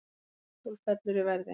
Apple fellur í verði